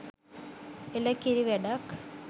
එළ කිරි වැඩක්